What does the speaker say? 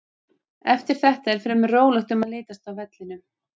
Eftir þetta er fremur rólegt um að litast á vellinum.